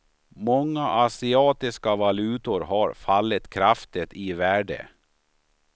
Många asiatiska valutor har fallit kraftigt i värde.